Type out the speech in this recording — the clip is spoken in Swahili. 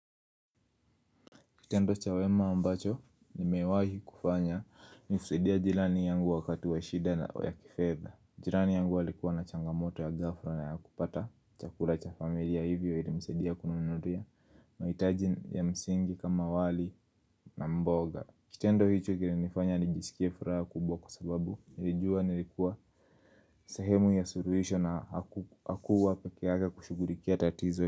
Kitendo cha wema ambacho ni mewahi kufanya ni kusaidia jilani yangu wakati wa shida na wa kifedha. Jirani yangu alikuwa na changamoto ya ghafla na ya kupata chakula cha familia hivyo ilimusidia kununulia mahitaji ya msingi kama wali na mboga. Kitendo hicho kili nifanya nijisikie furaha kubwa kwasababu nilijua nilikuwa sehemu ya suruhisho na hakuwa peke yake kushugulikia tatizo.